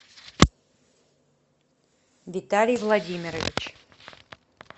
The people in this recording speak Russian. виталий владимирович